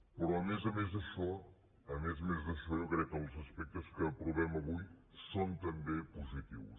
però a més a més d’això a més a més d’això jo crec que els aspectes que aprovem avui són també positius